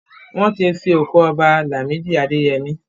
Wọ́n ti sin òkú Ọba Làmídì Adẹyẹmí.